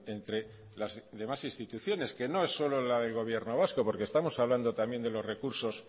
entre las demás instituciones que no es solo la del gobierno vasco porque estamos hablando también de los recursos